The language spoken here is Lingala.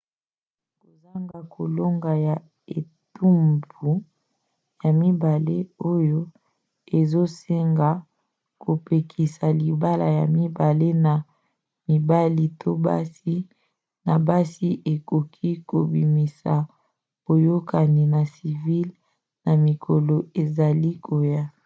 kozanga kolonga ya etumbu ya mibale oyo ezosenga bapekisa libala ya mibali na mibali to basi na basi ekoki kobimisa boyokani ya civile na mikolo ezali koya